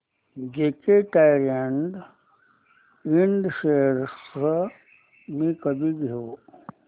JK Tyre and Ind shares मी कधी घेऊ